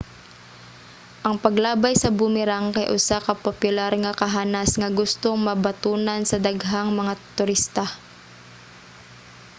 ang paglabay sa boomerang kay usa ka popular nga kahanas nga gustong mabatunan sa daghang mga turista